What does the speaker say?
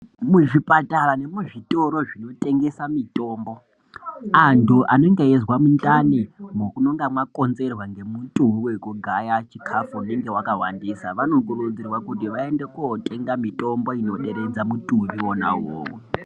Muzvipatara nemuzvitoro zvinotengesa mutombo antu anenge eizwa mundani unenge wakonzerwa neutuyu wekugaya chikafu unenge wakawandisa vanokurudzirwa kuti vaende kotenga mitombo inoderedza mutumbi wona uwowo.